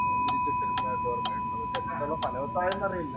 വിരിച്ചിട്ടിരുന്നത് ഒക്കെ ഓര്‍മ്മയൂണ്ടോ അപ്പൊ ഫലവത്തായോന്നു അറിയില്ല.